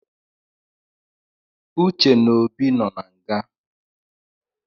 Uce na Obi nọ na nga